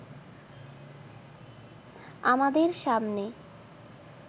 আমাদের সামনে